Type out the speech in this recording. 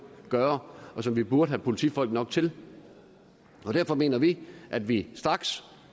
gøre og som vi burde have politifolk nok til derfor mener vi at vi straks